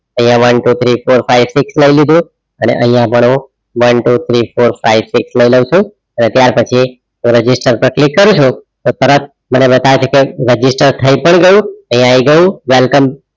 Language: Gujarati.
આઇયાહ one, two, three, four, five, six લઈ લીધું અને આઇયાહ પણ હું one, two, three, four, five, six લઈ લવ છું અને ત્યાર પછી register પર click કરું છું તો તરત મને બતાવે છે એક register થઈ પણ ગયું આઇયાહ આય ગયું welcome